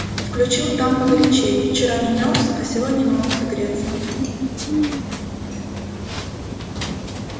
включил там погорячей вчера не мёрз а сегодня не мог согреться